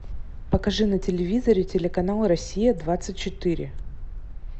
покажи на телевизоре телеканал россия двадцать четыре